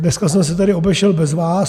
Dneska jsem se tady obešel bez vás.